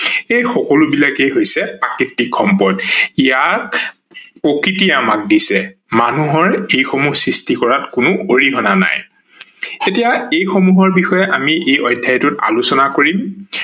এই সকলোবোৰেই হৈছে প্ৰকৃতিক সম্পদ, ইয়াক প্ৰকৃতিয়ে আমাক দিছে। মানুহৰ এই সমূহ সৃষ্টি কৰাত কোনো অৰিহনা নাই ।এতিয়া এই সমূহৰ বিষয়ে আমি এই অধ্যায়টোত আলোচনা কৰিম